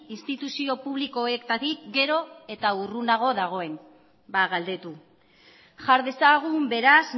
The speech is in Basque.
instituzio publikoetatik gero eta urrunago dagoen ba galdetu jar dezagun beraz